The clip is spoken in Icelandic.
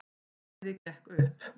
Bæði gekk upp.